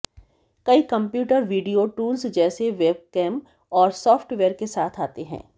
कई computer video tools जैसे webcam और सॉफ़्टवेयर के साथ आते हैं